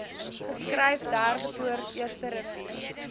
geskryf derdepoort eersterivier